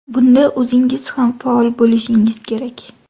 Bunda o‘zingiz ham faol bo‘lishingiz kerak.